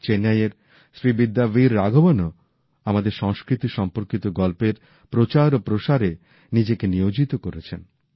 চেন্নাইয়ের শ্রীবিদ্যা বির রাঘাভনও আমাদের সংস্কৃতি সম্পর্কিত গল্পের প্রচার ও প্রসারে নিজেকে নিয়োজিত করেছেন